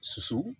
Susu